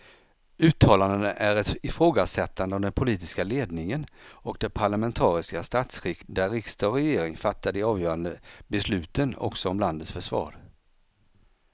Uttalandena är ett ifrågasättande av den politiska ledningen och det parlamentariska statsskick där riksdag och regering fattar de avgörande besluten också om landets försvar.